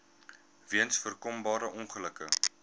weens voorkombare ongelukke